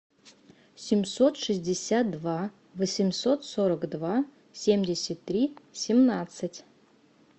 семьсот шестьдесят два восемьсот сорок два семьдесят три семнадцать